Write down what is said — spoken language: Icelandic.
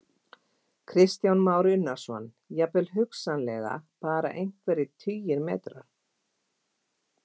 Kristján Már Unnarsson: Jafnvel hugsanlega bara einhverjir tugir metra?